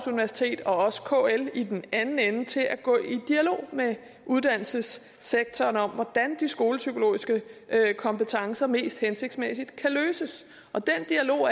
universitet og kl i den anden ende til at gå i dialog med uddannelsessektoren om hvordan de skolepsykologiske kompetencer mest hensigtsmæssigt kan løses den dialog